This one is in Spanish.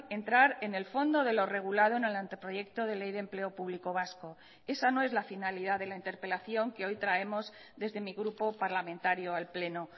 entrar en el fondo de lo regulado en el anteproyecto de ley de empleo público vasco esa no es la finalidad de la interpelación que hoy traemos desde mi grupo parlamentario al pleno